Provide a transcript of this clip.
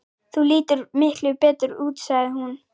Þú lítur miklu betur út, sagði hún.